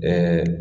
Ɛɛ